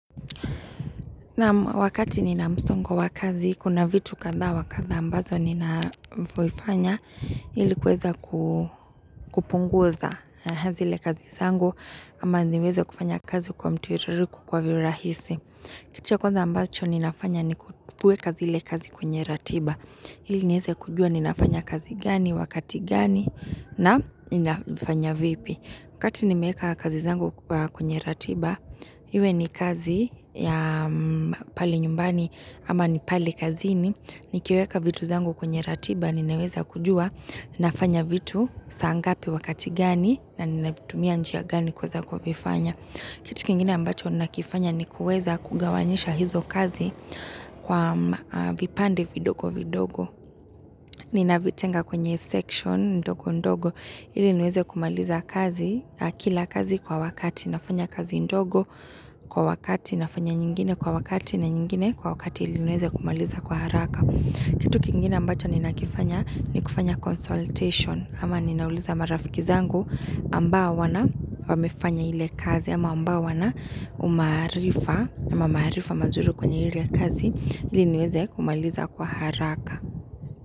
Na'am, wakati nina msongo wa kazi, kuna vitu kadha wa kadha ambazo ninafanya ili kuweza ku kupunguza zile kazi zangu ama niweza kufanya kazi kwa mtiririko kwa virahisi. Kitu cha kwanza ambacho ninafanya ni kuweka zile kazi kwenye ratiba. Ili nieze kujua ninafanya kazi gani, wakati gani na ninafanya vipi. Wakati nimeeka kazi zangu kwenye ratiba, iwe ni kazi ya pale nyumbani ama ni pale kazini, nikiweka vitu zangu kwenye ratiba, ninaweza kujua, ninafanya vitu, saa ngapi wakati gani, na ninatumia njia gani kuweza kuvifanya. Kitu kingine ambacho ninakifanya ni kuweza kugawanisha hizo kazi kwa vipande vidogo vidogo. Ninavitenga kwenye section ndogo ndogo ili niweze kumaliza kazi, kila kazi kwa wakati. Nafanya kazi ndogo kwa wakati, nafanya nyingine kwa wakati na nyingine kwa wakati ili niweze kumaliza kwa haraka. Kitu kingine ambacho nina kifanya ni kufanya consultation. Ama ninauliza marafiki zangu ambao wana, wamefanya ile kazi ama ambao wana umaarifa ama maarifa mazuri kwenye ile kazi ili niweze kumaliza kwa haraka.